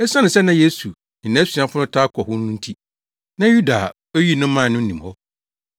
Esiane sɛ na Yesu ne nʼasuafo no taa kɔ hɔ no nti, na Yuda a oyii no mae no nim hɔ.